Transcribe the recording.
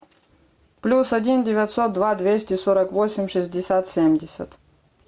плюс один девятьсот два двести сорок восемь шестьдесят семьдесят